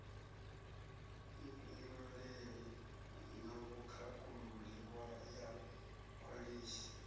vhufhinduleli na vhukhakhululi ya khwalithi